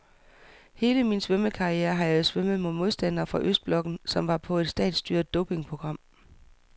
Hele min svømmekarriere har jeg svømmet mod modstandere fra østblokken, som var på et statsstyret dopingprogram.